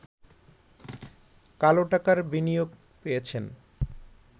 কালোটাকার বিনিয়োগ পেয়েছেন